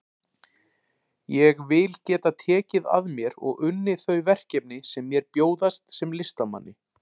Ég vil geta tekið að mér og unnið þau verkefni sem mér bjóðast sem listamanni.